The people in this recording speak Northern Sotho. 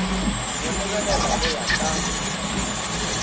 go lebelela go ya ka